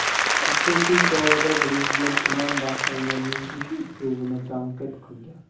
Uchrashuv chog‘ida Prezident tuman rahbarlarining ish uslubini tanqid qilgan.